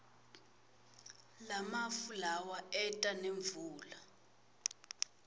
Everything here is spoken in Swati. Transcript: lamafu lawa eta nemvula